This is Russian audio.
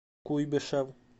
куйбышев